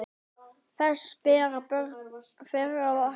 Þess bera börn þeirra vitni.